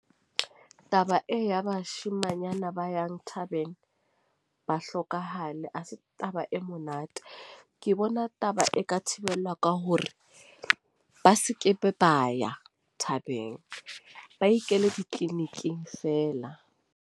Taba e ya bashimanyana ba yang thabeng, ba hlokahale a se taba e monate. Ke bona taba e ka thibelwa ka hore ba se ke ba ya thabeng, ba ikele ditleliniking feela.